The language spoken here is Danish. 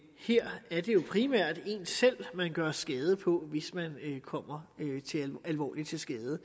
her er det primært en selv man gør skade på hvis man kommer alvorligt til skade